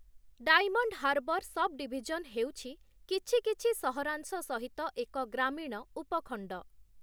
Diamond Harbour subdivision ହେଉଛି କିଛି କିଛି ସହରାଂଶ ସହିତ ଏକ ଗ୍ରାମୀଣ ଉପଖଣ୍ଡ ।